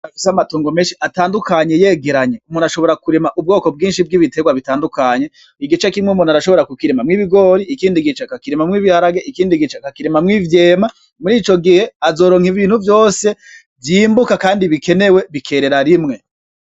Umuntu afise amatongo menshi atandukanye yegeranye. Ashobora kurima ubwoko bwinshi bw'ibiterwa bitandukanye, igice kimwe umuntu arashobora kukirinawo ibigori, ikindi gice akakirimamwo ibiharage, ikindi gice akakirimamwo ivyema .Mur'ico gihe azoronka ibintu vyose vyimbuka kandi bikenewe bikerera rimwe.